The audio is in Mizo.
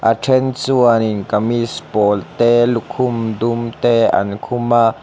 a then chuan in kamis pawl te lukhum dum te an khum a.